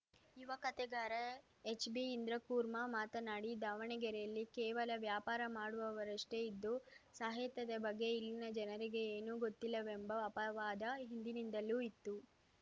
ಯುವ ಕಥೆಗಾರ ಎಚ್‌ಬಿಇಂದ್ರಕೂರ್ಮಾ ಮಾತನಾಡಿ ದಾವಣಗೆರೆಯಲ್ಲಿ ಕೇವಲ ವ್ಯಾಪಾರ ಮಾಡುವವರಷ್ಟೇ ಇದ್ದು ಸಾಹಿತ್ಯದ ಬಗೆ ಇಲ್ಲಿನ ಜನರಿಗೆ ಏನೂ ಗೊತ್ತಿಲ್ಲವೆಂಬ ಅಪವಾದ ಹಿಂದಿನಿಂದಲೂ ಇತ್ತು